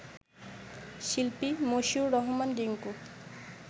শিল্পী মশিউর রহমান রিংকু